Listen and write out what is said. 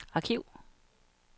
arkiv